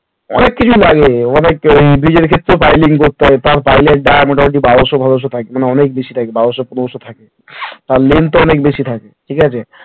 অনেক কিছু লাগে অনেক এই bridge এর ক্ষেত্রেও piling করতে হয় তার pile এর dia meter বারোশো ফোরাস থাকবে না অনেক বেশি থাকবে বারোশো পনেরোশো থাকবে তার length ও অনেক বেশি থাকে